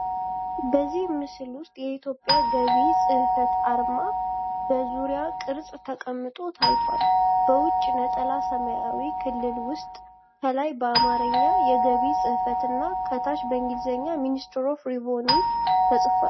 በዚህ ምስል ውስጥ የኢትዮጵያ የገቢ ጽሕፈት አርማ በዙር ቅርጽ ተቀምጦ ታይቷል። በውጪ ነጠላ ሰማያዊ ክልል ውስጥ ከላይ በአማርኛ “የገቢ ጽሕፈት” እና ከታች በእንግሊዝኛ “Ministry of Revenues” ተጻፈ።